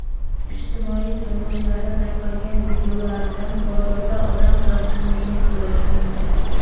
Ijtimoiy tarmoqlarda tarqalgan videolardan bozorda odam gavjumligini ko‘rish mumkin.